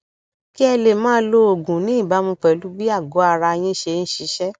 kí ẹ lè máa lo oògùn ní ìbámu pẹlú bí àgọara yín ṣe ń ṣiṣẹ